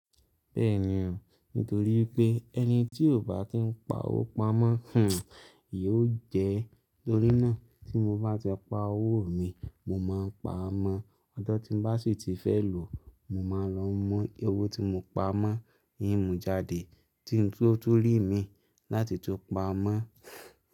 Bẹ́ẹ̀ ni o, nítorí pé ẹni tí ó bá ti ń pa owó pamọ́, hmm ìya ó jẹ́. Tórí náà tí mo bá ti pa owó mi, mo máa ń paa mọ́. Ọjo tí m bá sì ti fẹ́ lò, mo máa lọ mú owó tí mo pa mọ́, n mú jáde, tí n ó tó rí mi láti tó paá mọ́